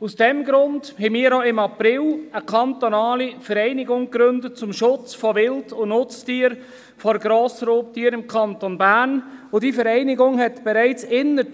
Daher haben wir im April eine kantonale Vereinigung zum Schutz von Wild- und Nutztieren vor Grossraubtieren im Kanton Bern gegründet, und diese Vereinigung hat nach